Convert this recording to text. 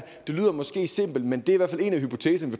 det lyder måske simpelt men det er der